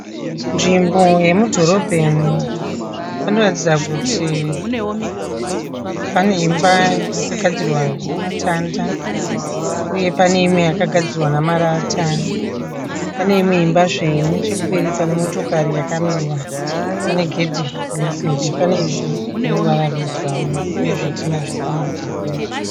Nzvimbo yemudhorobheni, panoratidza kuti pane imba yakagadzirwa namatanda, pane imwe yagadzirwa namarata, pane imwe imba zve iri neche kupembi pane nemotokari yakamira pane gedhe resimbi, pane ivhu rine ruvara rwe burauni , uye zvitinha zviri pamadziro pemba.